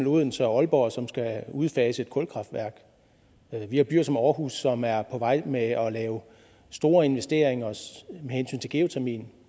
odense og aalborg som skal udfase et kulkraftværk og vi har byer som aarhus som er på vej med at lave store investeringer med hensyn til geotermien